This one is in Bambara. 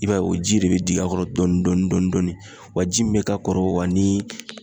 I b'a ye o ji de be jigin a kɔrɔ dɔɔni dɔɔni. Wa ji min be ka kɔrɔ ani